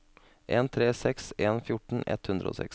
en tre seks en fjorten ett hundre og seks